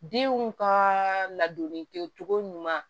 Denw ka ladonni kɛ cogo ɲuman